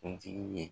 Kuntigi ye